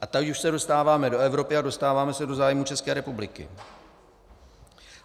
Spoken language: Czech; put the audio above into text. A tady už se dostáváme do Evropy a dostáváme se do zájmů České republiky.